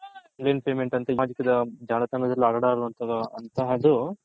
online payment ಅಂತಹದು